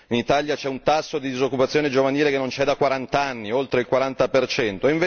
In Italia c'è un tasso di disoccupazione giovanile che non c'è da quarant'anni, oltre il quaranta percento.